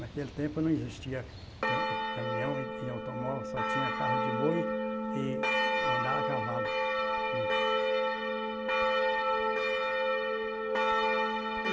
Naquele tempo não existia tan caminhão e e automóvel, só tinha carro de boi e andar a cavalo. Hum.